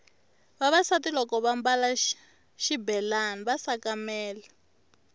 vavasati loko vambale xibelani va sakamela